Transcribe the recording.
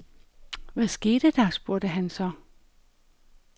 Hvad skete der, spurgte han så.